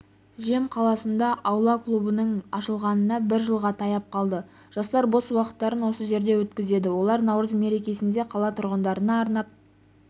жем қаласында аула клубының ашылғанына бір жылға таяп қалды жастар бос уақыттарын осы жерде өткізеді олар наурыз мерекесінде қала тұрғындарына арнап